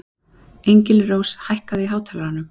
Engilrós, hækkaðu í hátalaranum.